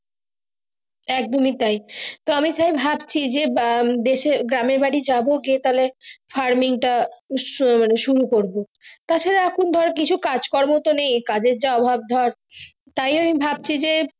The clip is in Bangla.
কদমী তাই আমি তাই ভাবছি যে আহ দেশে গ্রামের বাড়ি যাবো গিয়ে তাহলে farming টা উৎসাহে সুর করবো তা ছাড়া এখন তো কোনো কাজ কোর্মা তো নেই কাজ এর যা অভাব ধরে তাই আমি ভাবছি যে।